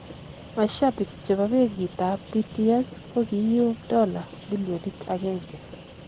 Mashabik chebo benkit tab BTS kokiyum dola millionit agenge.